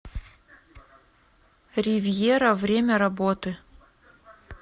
ривьера время работы